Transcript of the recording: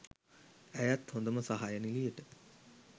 ඇයත් හොදම සහාය නිළියට